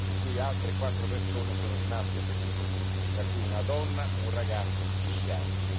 in cui sono rimaste ferite altre quattro persone, tra cui una donna e un ragazzo di dieci anni.